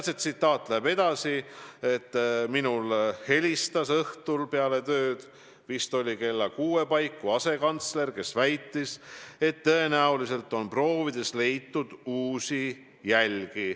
" Ja edasi: "Minule helistas peale tööd, vist oli kella 6 paiku, asekantsler, kes väitis, et tõenäoliselt on proovides leitud uusi jälgi.